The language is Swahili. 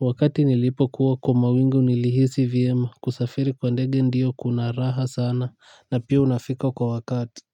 Wakati nilipokuwa kwa mawingu nilihisi vyema, kusafiri kwa ndege ndio kuna raha sana. Na pia unafika kwa wakati.